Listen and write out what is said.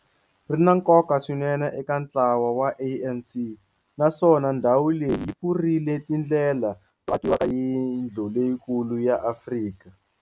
Ri na nkoka swinene eka ntlawa wa ANC, naswona ndhawu leyi yi pfurile tindlela to aka yindlu leyikulu ya Afrika.